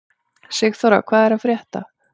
Sigþóra, hvað er að frétta?